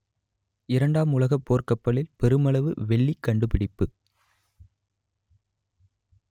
இரண்டாம் உலகப் போர்க் கப்பலில் பெருமளவு வெள்ளி கண்டுபிடிப்பு